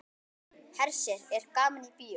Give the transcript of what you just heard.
Hersir er gaman í bíó?